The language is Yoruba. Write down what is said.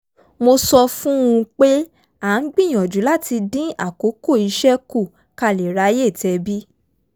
mo sọ fún un pé a ń gbìyànjú láti dín àkókò iṣẹ́ kù ká lè ráyè tẹbí